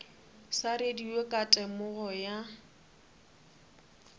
sa radio ka temogo ya